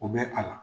U bɛ a la